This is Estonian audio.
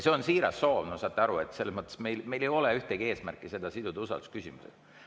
See on siiras soov, saate aru, meil ei ole eesmärki siduda seda usaldusküsimusega.